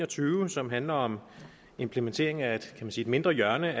og tyve som handler om implementering af et mindre hjørne